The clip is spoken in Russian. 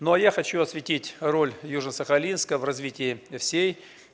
но а я хочу осветить роль южно-сахалинска в развитии всей